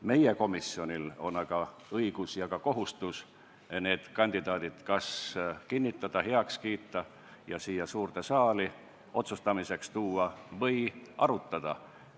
Meie komisjonil on õigus ja ka kohustus need kandidaadid kas kinnitada, heaks kiita, ja siia suurde saali otsustamiseks tuua või neid arutada.